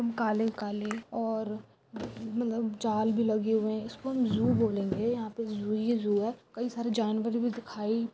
काले काले और मतलब दाल भी लगे हुए हैं इसको हम जो बोलेंगे जूही जो है कई सारे जानवर भी दिखाई